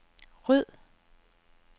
ryd